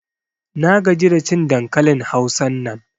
Na gaji da cin dankalin Hausan nan.